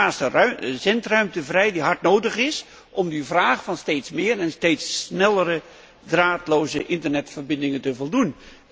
Er komt schaarse zendruimte vrij die hard nodig is om aan die vraag naar steeds meer en steeds snellere draadloze internetverbindingen te voldoen.